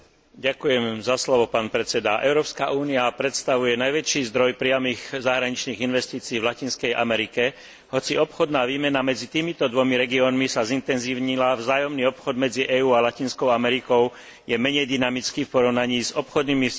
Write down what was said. Európska únia predstavuje najväčší zdroj priamych zahraničných investícií v Latinskej Amerike, hoci obchodná výmena medzi týmito dvomi regiónmi sa zintenzívnila, vzájomný obchod medzi EÚ a Latinskou Amerikou je menej dynamický v porovnaní s obchodnými vzťahmi s inými oblasťami sveta.